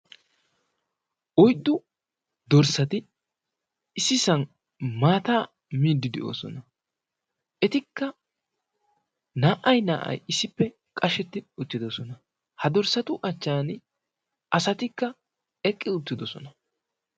oyddu dorssati ississan maata miidi de'oosona. etikka naa''ay naa''ay issippe qashsheti uttidoosona, ha dorssatu achchan asatikka eqqi uttidoosona.